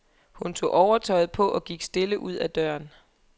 Hun tog overtøjet på og gik stille ud ad døren.